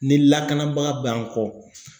Ni lakanabaga bɛ an kɔ.